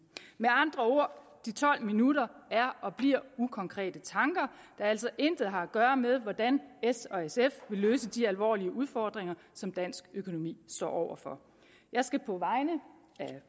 med andre ord de tolv minutter er og bliver ukonkrete tanker der altså intet har at gøre med hvordan s og sf vil løse de alvorlige udfordringer som dansk økonomi står over for jeg skal på vegne af